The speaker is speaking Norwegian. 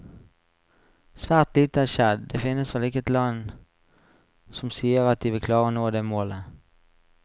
Svært lite har skjedd, det finnes vel ikke et land som sier at de vil klare å nå det målet.